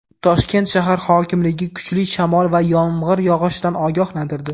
Toshkent shahar hokimligi kuchli shamol va yomg‘ir yog‘ishidan ogohlantirdi.